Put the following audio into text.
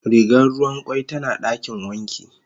Rigar ruwan kwai tana dakin wanki.